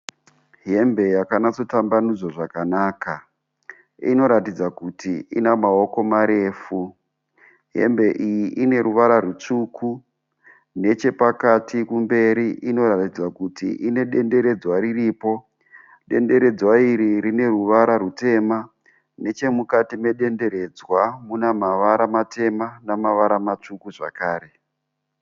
Hembe yakanatso tambanudzwa zvakanaka inoratidza kuti ina maoko marefu hembe iyi ine ruvara rutsvuku nechepakati kumberi inoratidza kuti ine denderedzwa riripo, denderedzwa iri rine ruvara rutema, nechemukati medenderedzwa muna mavara matema namavara matsvuku zvakare.